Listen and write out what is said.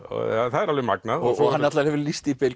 það er alveg magnað hann hefur lýst því